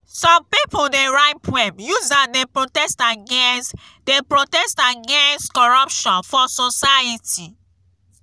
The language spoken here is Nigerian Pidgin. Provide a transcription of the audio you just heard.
some pipo dey write poem use am dey protest against dey protest against corruption for society.